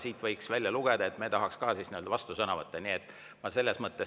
Siit võiks välja lugeda, et meie tahaks ka nii-öelda vastusõnavõtte saada.